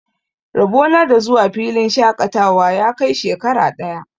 Rabo na da zuwa filin shaƙatawa ya kai shekara ɗaya.